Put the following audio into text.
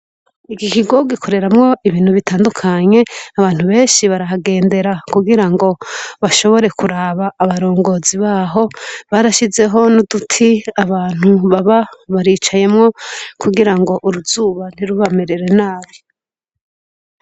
Iki kigo gikoreramwo ibintu bitandukanye abantu benshi barahagendera kugirango bashobora kuraba abarongozi baho barashizeho n'uduti abantu baba baricayemwo kugirango uruzuba ntirubamerere nabi.